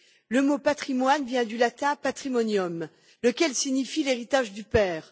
Le mot patrimoine vient du latin patrimonium lequel signifie l'héritage du père.